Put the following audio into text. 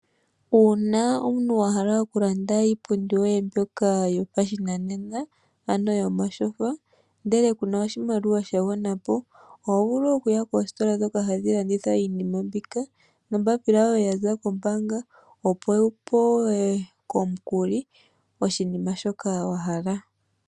Uuna omuntu wa hala okulanda iipundi yoye mbyoka yopashinanena, ano yomatyfa, ndele ku na oshimaliwa sha gwana po oho vulu okuya koositola ndhoka hadhi landitha iinima mbika nombaapila yoye ya za kombaanga, opo wu pewe omukuli koshinima shoka wa hala.